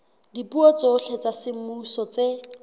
dipuo tsohle tsa semmuso tse